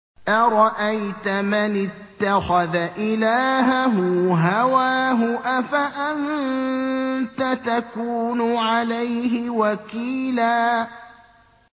أَرَأَيْتَ مَنِ اتَّخَذَ إِلَٰهَهُ هَوَاهُ أَفَأَنتَ تَكُونُ عَلَيْهِ وَكِيلًا